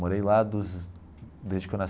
Morei lá dos desde que eu